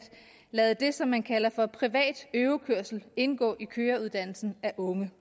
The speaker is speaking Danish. lade det som man kalder for privat øvekørsel indgå i køreuddannelsen af unge